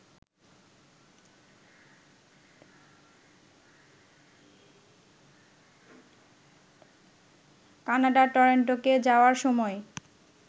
কানাডার টরেন্টোকে যাওয়ার সময়